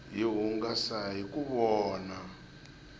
hi hungasa hiku vona